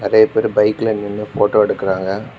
நிறைய பேரு பைக்ல நின்னு போட்டோ எடுக்குறாங்க.